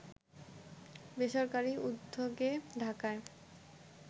বেসরকারি উদ্যোগে ঢাকায়